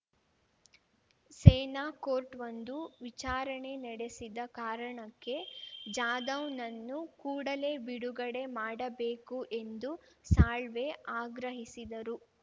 ಸೇನಾಕೋರ್ಟ್‌ವೊಂದು ವಿಚಾರಣೆ ನಡೆಸಿದ ಕಾರಣಕ್ಕೆ ಜಾಧವ್‌ನನ್ನು ಕೂಡಲೇ ಬಿಡುಗಡೆ ಮಾಡಬೇಕು ಎಂದು ಸಾಳ್ವೆ ಆಗ್ರಹಿಸಿದರು